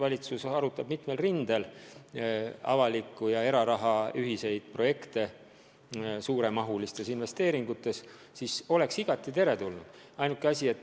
Oleks hea, kui valitsus arutaks mitmel rindel avaliku ja eraraha ühiseid projekte, mis eeldavad suuremahulisi investeeringuid.